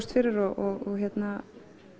fyrir og